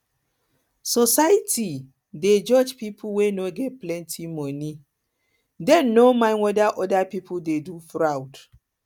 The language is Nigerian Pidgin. society dey judge pipo wey no get plenty money dem plenty money dem no mind weda oda pipo dey do fraud